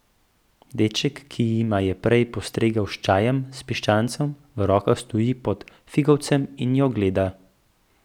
Deček, ki jima je prej postregel s čajem, s piščancem v rokah stoji pod figovcem in jo gleda.